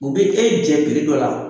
U be e jɛ dɔ la